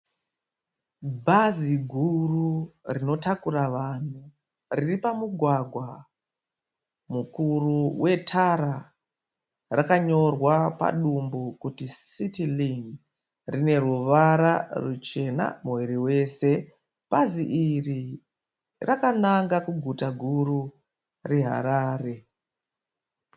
Bhazi guru rinotakura vanhu riri pamugwagwa mukuru wetara. Rakanyorwa padumbu kuti City Link. Rine ruvara ruchena muviri wose. Bhazi iri rakananga kuguta guru reHarare.